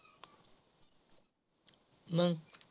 मग.